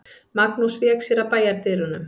Magnús vék sér að bæjardyrunum.